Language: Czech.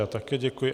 Já také děkuji.